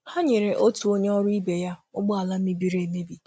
Ha nyere onye ọrụ ibe ha ọrụ ibe ha njem mgbe ụgbọ ala ya mebiri.